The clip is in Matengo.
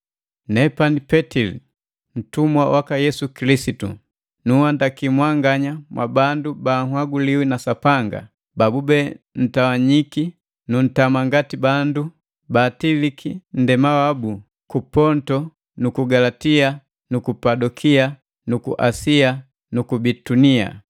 Nepani Petili, ntumi waka Yesu Kilisitu. Nunhandaki mwanganya mwabandu monhaguliwi na Sapanga, babube ntawanyiki nu ntama ngati bandu baatiliki nndema wabu ku Ponto nuku Galatia nuku Kapadokia nuku Asia nuku Bitunia.